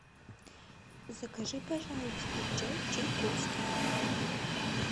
закажи пожалуйста чай чайковский